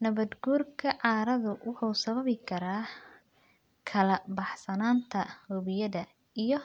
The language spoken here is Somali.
Nabaadguurka carrada wuxuu sababi karaa kala-baxsanaanta webiyada iyo